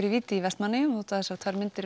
í víti í Vestmannaeyjum þótt þessar tvær myndir